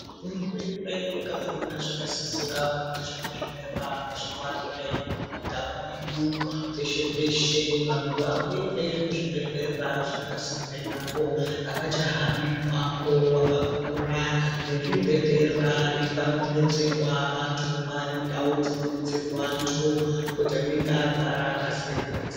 Hurumende yakazviona zvakasisira kuti zvibhedhlera zviwande munyika mwedu, peshe-peshe, vantu vakuende kuzvibhedhlera zviripasinde navo, avachahambi mumango wakakura. Nezvibhedhlera nepanodetserwa vantu maane ndau dzinodetserwa antu kuti anenge arwara akasire kudetserwa.